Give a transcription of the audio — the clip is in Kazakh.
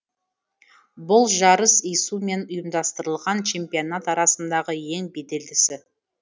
бұл жарыс ису мен ұйымдастырылатын чемпионаттар арасындағы ең беделдісі